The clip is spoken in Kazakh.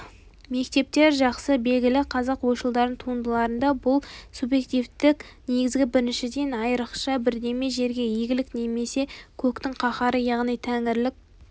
мектептер жақсы белгілі қазақ ойшылдарының туындыларында бұл субъективтік негіз біріншіден айрықша бірдеме жерге игілік немесе көктің қаһары яғни тәңірілік